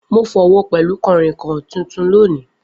Mo fọ́wo pẹlu kànrìnkàn tuntun loni.